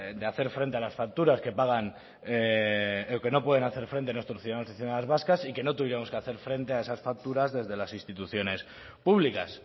de hacer frente a las facturas que pagan o que no pueden hacer frente nuestros ciudadanos y ciudadanas vascas y que no tuviéramos que hacer frente a esas facturas desde las instituciones públicas